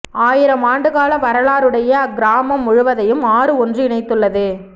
ஆயிரம் ஆண்டுக்கால வரலாறுடைய அக்கிராமம் முழுவதையும் ஆறு ஒன்று இணைத்துள்ளது